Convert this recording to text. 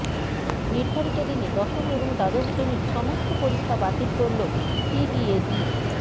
নির্ধারিত দিনে দশম এবং দ্বাদশ শ্রেণির সমস্ত পরীক্ষা বাতিল করল সিবিএসই